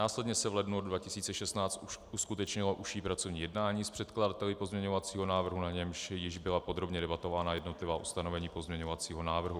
Následně se v lednu 2016 uskutečnilo užší pracovní jednání s předkladateli pozměňovacího návrhu, na němž již byla podrobně debatována jednotlivá ustanovení pozměňovacího návrhu.